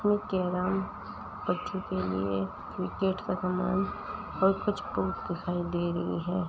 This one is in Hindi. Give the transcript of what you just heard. इसमें कैरम बच्चों के लिए क्रिकेट का सामान और कुछ बुक्स दिखाई दे रही हैं।